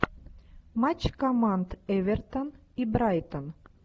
матч команд эвертон и брайтон